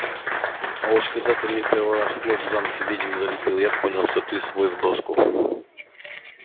а уж когда ты мне первый раз в лоб в замке ведьм залепил я понял что ты свой в доску